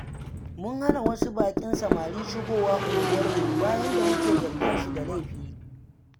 Mun hana wasu baƙin samari shigowa unguwarmu, bayan da muke zarginsu da laifi.